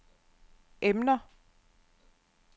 emner